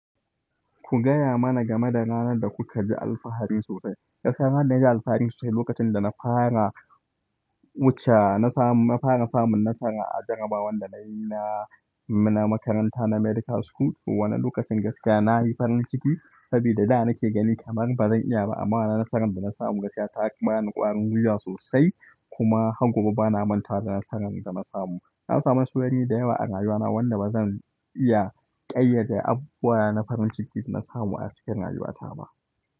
Ku gaya mana game da ranar da kuka ji alfahari sosai. Gaskiya ranar da na ji alfahari sosai lokacin da na fara wuce, na fara samun nasara a jarrabawar da na yi na na makaranta, na Medical School. Wanan lokacin gaskiya na yi farin ciki, saboda da na ke gani kamar ba zan iya ba, amma wanan nasaran da na samu gaskiya ta bani ƙwarin gwiwa sosai. Kuma har gobe ba na manta da nasaran da na samu. Na samu nasarori dayawa a rayuwa na wanda ba zan iya ƙayyade abubuwa na farin ciki da na samu a cikin rayuwa ta ba.